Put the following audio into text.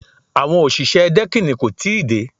Àwọn òṣìṣẹ́ dẹ́kìnì kò tí ì dé